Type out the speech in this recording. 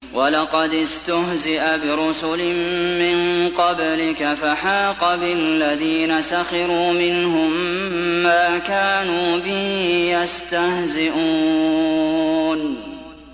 وَلَقَدِ اسْتُهْزِئَ بِرُسُلٍ مِّن قَبْلِكَ فَحَاقَ بِالَّذِينَ سَخِرُوا مِنْهُم مَّا كَانُوا بِهِ يَسْتَهْزِئُونَ